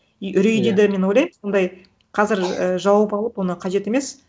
и иә үрейде де мен ойлаймын ондай қазір і жауып алып оны қажет емес